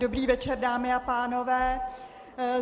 Dobrý večer, dámy a pánové.